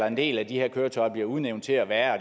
en del af de her køretøjer bliver udråbt til at være